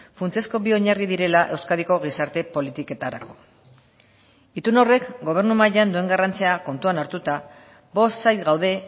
funtsezko bi oinarri direla euskadiko gizarte politiketarako itun horrek gobernu mailan duen garrantzia kontuan hartuta bost sail gaude